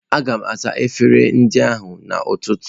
Aga m asa efere ndị ahụ n'ụtụtụ.